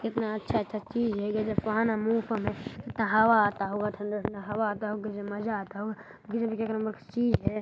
इतना अच्छा -अच्छा चीज़ है हवा ठंडा -ठंडा हवा आता होगा मज़्ज़ा आता होगा गज़ब चीज़ हैं।